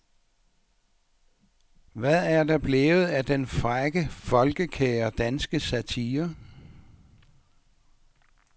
Hvad er der blevet af den frække folkekære danske satire.